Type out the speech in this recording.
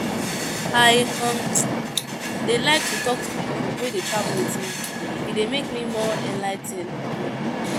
I um dey like to talk to people wey dey travel with me, e dey make me more enligh ten ed * um